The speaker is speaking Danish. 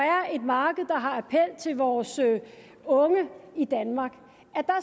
er et marked der har appel til vores unge i danmark